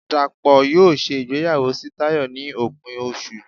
Dapo yóò ṣe ìgbéyàwó sí Tayo ni opín osú